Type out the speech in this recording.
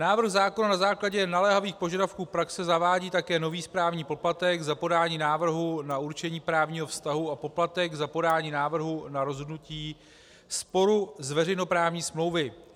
Návrh zákona na základě naléhavých požadavků praxe zavádí také nový správní poplatek za podání návrhu na určení právního vztahu a poplatek za podání návrhu na rozhodnutí sporu z veřejnoprávní smlouvy.